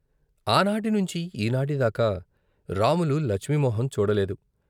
ఆనాటి నుంచి ఈనాటి దాకా రాములు లచ్మి మొహం చూడలేదు.